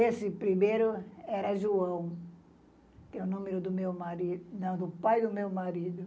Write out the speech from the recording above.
Esse primeiro era João, que era o nome do meu marido, não, do pai do meu marido.